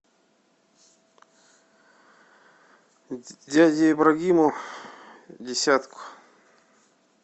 дяде ибрагиму десятку